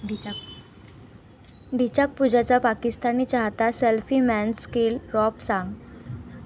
ढिंच्याक पूजाचा पाकिस्तानी चाहता, 'सेल्फी मैंने..'चं केलं रॅप साँग